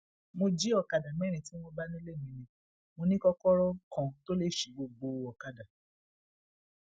mo jí ọkadà mẹrin tí wọn bá nílé mi ni mo ní kọkọrọ kan tó le sí gbogbo ọkadà